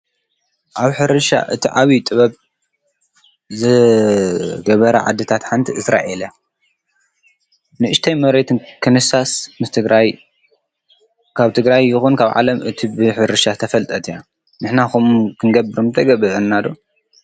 ኣብ ሕርሻ እቲ ዓብዪ ጥበብ ዝገብራ ዓድታት ሓንቲ እስራኣኤል እያ። ንኡሽተይ መሬት ክንሳስ ንትግራይ ካብ ትግራይ ይኹን ካብ ዓለም እታ ብሕርሻ ዝተፈልጠት እያ። ንሕና ከምኡ ክንገብር ምተገብኣና ዶ ?